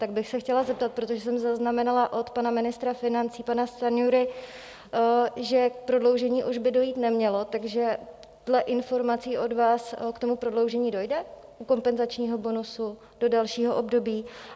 Tak bych se chtěla zeptat, protože jsem zaznamenala od pana ministra financí, pana Stanjury, že k prodloužení už by dojít nemělo, takže dle informací od vás k tomu prodloužení dojde u kompenzačního bonusu do dalšího období?